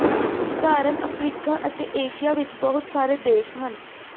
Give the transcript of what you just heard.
ਉਦਾਹਰਨ ਅਫਰੀਕਾ ਅਤੇ ਏਸ਼ੀਆ ਵਿਚ ਬਹੁਤ ਸਾਰੇ ਦੇਸ਼ ਹਨ